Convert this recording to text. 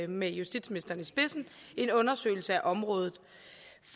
med justitsministeren i spidsen en undersøgelse af området